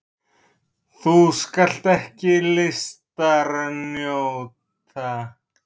Þú skalt ekki listar njóta!